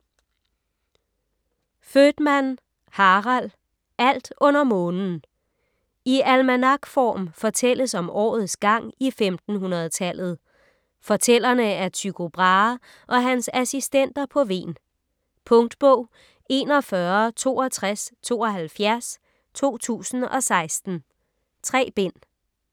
Voetmann, Harald: Alt under månen I almanakform fortælles om årets gang i 1500-tallet. Fortællerne er Tycho Brahe og hans assistenter på Hven. Punktbog 416272 2016. 3 bind.